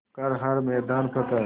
कर हर मैदान फ़तेह